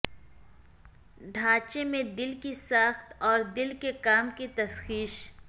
ڈھانچے میں دل کی ساخت اور دل کے کام کی تشخیص